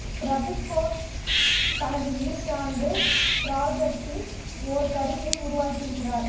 பிரதிக் கோஷ் தனது இறுதியாண்டு ப்ராஜெக்ட்டில் ஓர் கருவியை உருவாக்கியிருக்கிறார்